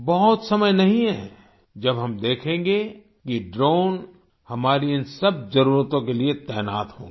बहुत समय नहीं है जब हम देखेंगे कि ड्रोन हमारी इन सब जरूरतों के लिए तैनात होंगे